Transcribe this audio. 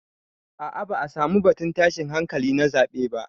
A'a ba'a samu batun tashin hankali na zaɓe ba.